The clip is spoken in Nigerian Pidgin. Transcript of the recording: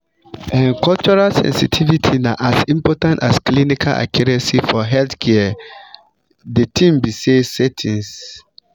um cultural sensitivity na as important as clinical accuracy for healthcare de tin be say settings.